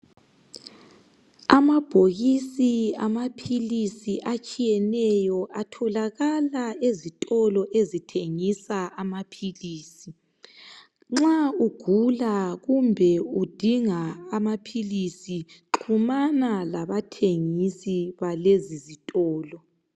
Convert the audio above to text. Amabhokisi awamapills atshiyeneyo atholakala ezitolo ezithengisa amapills nxa ugula kumbe udinga amapills xhumana labathengisi balezi zitolo